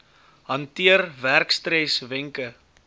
hanteer werkstres wenke